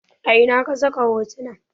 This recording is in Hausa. A ina ka saka hotunan?